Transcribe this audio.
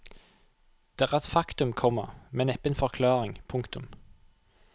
Det er et faktum, komma men neppe en forklaring. punktum